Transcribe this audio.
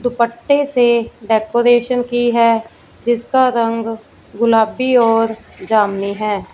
दुपट्टे से डेकोरेशन की है जिसका रंग गुलाबी और जमुनी है।